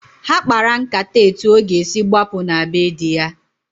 Ha kpara nkata etu ọ ga-esi gbapụ na be di ya.